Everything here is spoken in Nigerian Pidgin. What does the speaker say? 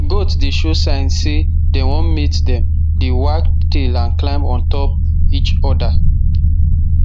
goat dey show sign say dem wan mate dem dey wag tail and climb on top each other